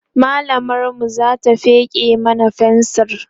mallamar mu Zata feke mana fensir